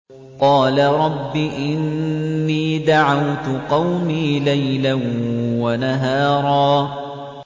قَالَ رَبِّ إِنِّي دَعَوْتُ قَوْمِي لَيْلًا وَنَهَارًا